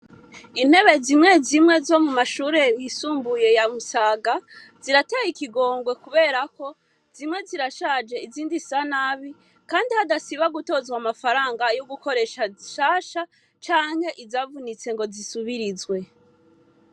Intebe zimwe zimwe zo mu mashure bisumbuye yamusaga zirateye ikigongwe kuberako zimwe zirashaje izindi sa nabi, kandi hadasiba gutozwa amafaranga yo gukoresha shasha canke izavunitse ngo zisubirizwe.